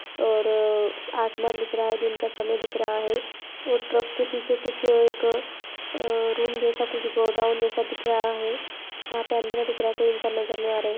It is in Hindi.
और ररर असमान दिख रहा है दिन का समय दिख रहा है और ट्रक के पीछे कुछ एक आ रूम जैसा कुछ गोडाउन जैसा दिख रहा है। यहां पर अंधेरा दिख रहा है कोई इंसान नजर नहीं आ रहा है।